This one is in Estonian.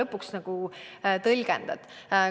Kuidas seda tõlgendada?